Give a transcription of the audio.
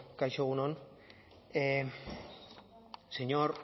bueno kaixo egun on señor